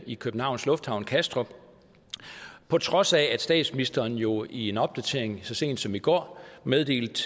i københavns lufthavn kastrup på trods af at statsministeren jo i en opdatering så sent som i går meddelte